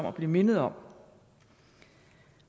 at blive mindet om